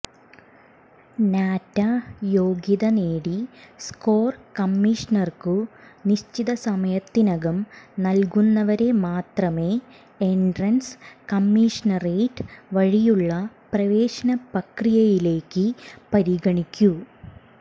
നാറ്റ യോഗ്യത നേടി സ്കോർ കമ്മിഷണർക്കു നിശ്ചിത സമയത്തിനകം നൽകുന്നവരെമാത്രമേ എൻട്രൻസ് കമ്മിഷണറേറ്റ് വഴിയുള്ള പ്രവേശന പ്രക്രിയയിലേക്ക് പരിഗണിക്കൂ